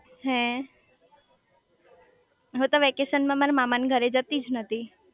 હે હું તો વેકેશન માં મારા મામા ના ઘરે જતી જ નતી